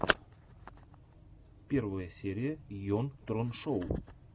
первая серия йон трон шоу